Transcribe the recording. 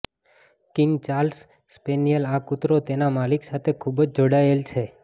king Charles spaniel આ કૂતરો તેના માલિક સાથે ખૂબ જ જોડાયેલ છે